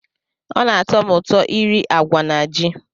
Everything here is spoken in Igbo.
Ọ na-atọ m ụtọ iri agwa na ji.